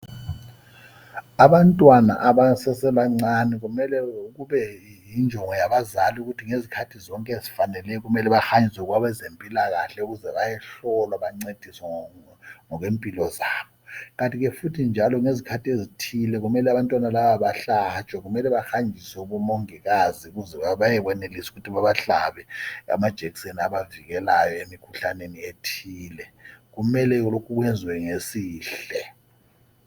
Abantwana abasese ba ncane kumele kube yijongo yabazali ukuba ngezikhathi zonke ezifaneleyo kumele behanjiswe kwabazempilakahle ukuze bayehlolwa bancediswe ngokwe mpilo zabo kanti futhi ngezikhathi ezithile kufanele abantwana laba bahlatshwe kumele bahanjiswe kubo mongikazi kuze bayenelise ukuthi bebahlabe abajekuseni abavikelayo emkhuhlaneni ethile kule okwenziwe ngesihle